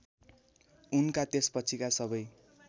उनका त्यसपछिका सबै